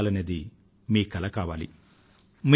అలా జారగాలనేది మీ కల కావాలి